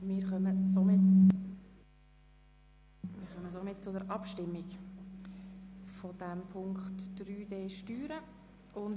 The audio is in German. Wir kommen zu den Abstimmungen betreffend den Block 3d. Steuern.